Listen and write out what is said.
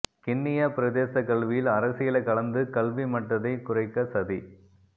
கிண்ணியா பிரதேசக் கல்வியில் அரசியலைக் கலந்து கல்வி மட்டத்தைக் குறைக்கச்சதி